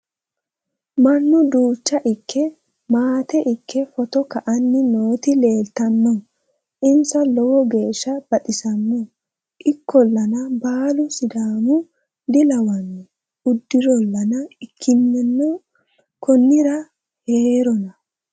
mannu duucha ikke maate ikke poto ka'anni nooti leeltanno insa lowo geeshsha baxissanno ikkollana baalu sidaama dilawanno udirolla ikkinninna konnira heerona